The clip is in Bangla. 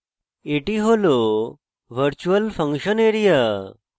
এটি হল virtual ফাংশন area